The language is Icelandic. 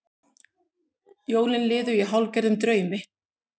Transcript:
Jólin liðu í hálfgerðum draumi.